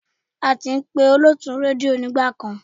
A kì í pé olótùú rédíò nígbà kan.